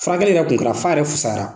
Furakɛli kun kɛra f'a yɛrɛ fisayara.